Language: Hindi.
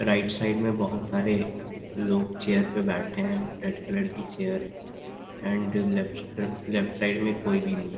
राइट साइड में बहुत सारे लोग चेयर पे बैठे हैं रेड कलर की चेयर है and uh left left side कोई भी नही है।